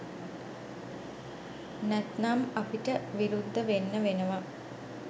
නැත්නම් අපිට විරුද්ධ වෙන්න වෙනවා